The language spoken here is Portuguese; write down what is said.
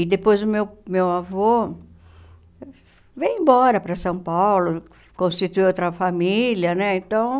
E depois o meu meu avô veio embora para São Paulo, constituiu outra família, né? Então